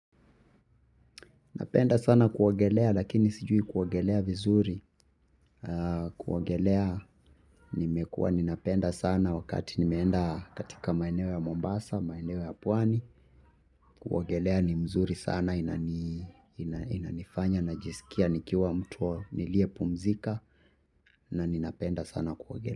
Napenda sana kuogelea lakini sijui kuogelea vizuri. Kuogelea nimekuwa ninapenda sana wakati nimeenda katika maeneo ya Mombasa, maineo ya pwani. Kuogelea ni mzuri sana inanifanya na jisikia nikiwa mtu niliye pumzika na ninapenda sana kuogelea.